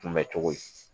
Kunbɛ cogo ye